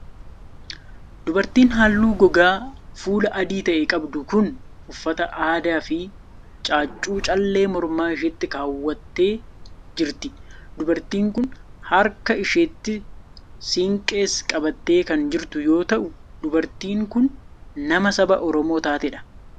Dubartiin haalluu gogaa fuulaa adii ta'e qabdu kun, uffata aadaa fi caaccuu callee morma isheetti kaawwattee jirti. Dubartiin kun haraka isheetti siinqees qabattee kan jirtu yoo ta'u, dubartiin kun nama saba Oromoo taatee dha.